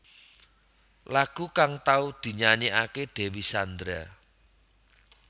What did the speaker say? Lagu kang tau dinyanyékaké Dewi Sandra